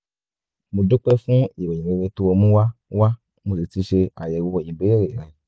mo dúpẹ́ fún ìròyìn rere tó o mú wá wá mo sì ti ṣe àyẹ̀wò ìbéèrè rẹ